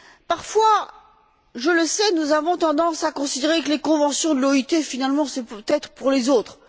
Parfois, je le sais, nous avons tendance à considérer que les conventions de l'OIT, finalement, c'est peut être pour les autres.